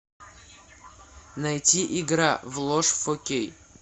найти игра в ложь фор кей